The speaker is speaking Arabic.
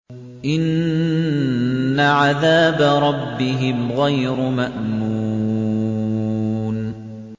إِنَّ عَذَابَ رَبِّهِمْ غَيْرُ مَأْمُونٍ